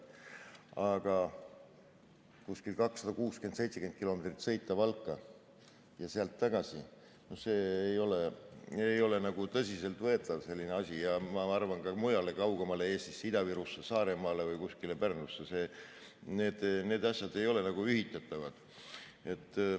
Aga 260–270 kilomeetrit sõita Valka ja sealt tagasi ei ole tõsiselt võetav asi, ja ma arvan, et ka mujale, kaugemale Eestis, Ida-Virusse, Saaremaale või kuskile Pärnusse – need asjad ei ole ühitatavad.